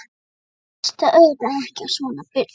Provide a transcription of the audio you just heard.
Hann hlustaði auðvitað ekki á svona bull.